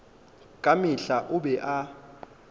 ka mehla o be a